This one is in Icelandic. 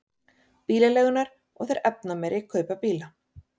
Bílaleigurnar og þeir efnameiri kaupa bíla